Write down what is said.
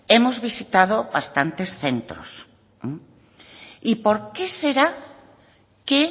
hemos visitado bastantes centros y por qué será que